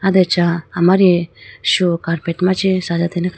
aye do acha amari shu carpet machi sajatene kha.